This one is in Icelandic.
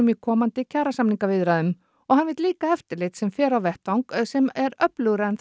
í komandi kjarasamningaviðræðum og hann vill líka eftirlit sem fer á vettvang sem er öflugra en